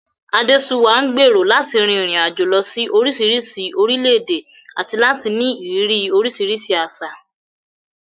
Adesuwa ń gbèrò láti rin ìrìn àjò lọ sí oríṣiríṣi orílẹ̀-èdè àti láti ní ìrírí oríṣiríṣi àṣà.